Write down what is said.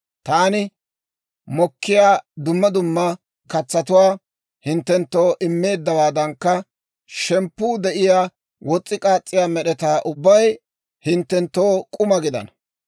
taani mokkiyaa dumma dumma katsatuwaa hinttenttoo immeeddawaadankka, shemppuu de'iyaa wos's'i k'aas's'iyaa med'etaa ubbay hinttenttoo k'uma gidana.